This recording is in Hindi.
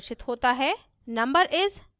output में प्रदर्शित होता है